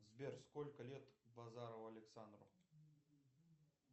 сбер сколько лет базарову александру